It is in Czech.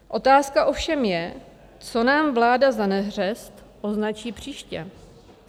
Otázka ovšem je, co nám vláda za neřest označí příště.